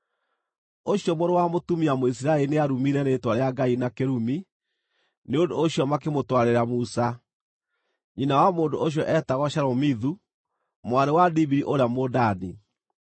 Ũcio mũrũ wa mũtumia Mũisiraeli nĩarumire Rĩĩtwa rĩa Ngai na kĩrumi; nĩ ũndũ ũcio makĩmũtwarĩra Musa. (Nyina wa mũndũ ũcio eetagwo Shelomithu, mwarĩ wa Dibiri ũrĩa Mũdani.)